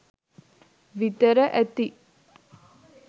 විතර ඇති